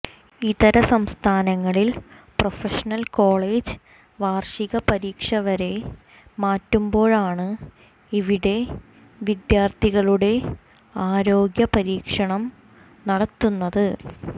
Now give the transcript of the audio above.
ഇതര സംസ്ഥാനങ്ങളിൽ professional college വാർഷിക പരീക്ഷവരെ മാറ്റുമ്പോഴാണ് ഇവിടെ വിദ്യാർഥികളുടെ ആരോഗ്യ പരീക്ഷണം നടത്തുന്നത്